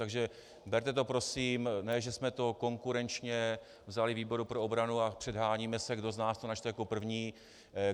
Takže berte to prosím, ne že jsme to konkurenčně vzali výboru pro obranu a předháníme se, kdo z nás to načte jako první.